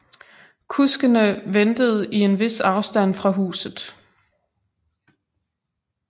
Kuskene ventede i en vis afstand fra huset